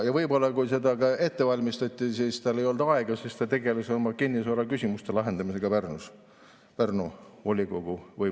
Ja võib-olla, kui seda ette valmistati, tal ei olnud aega, ta tegeles oma kinnisvaraküsimuste lahendamisega Pärnus, Pärnu volikogus.